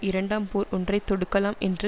இரண்டாம் போர் ஒன்றை தொடுக்கலாம் என்று